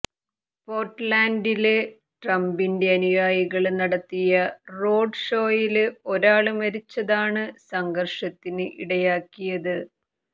പോര്ട്ട്ലാന്ഡില് ട്രംപിന്റെ അനുയായികള് നടത്തിയ റോഡ് ഷോയില് ഒരാള് മരിച്ചതാണ് സംഘര്ഷത്തിന് ഇടയാക്കിയത്